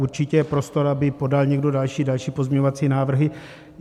Určitě je prostor, aby podal někdo další pozměňovacími návrhy.